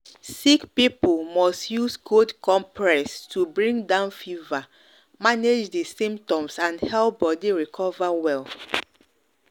sick people must use cold compress to bring down fever manage di symptoms and help body recover well